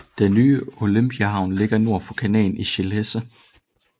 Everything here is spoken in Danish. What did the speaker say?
Den nye Olympiahavn ligger nord fra kanalen i Schilksee